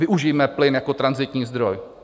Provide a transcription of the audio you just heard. Využijme plyn jako tranzitní zdroj.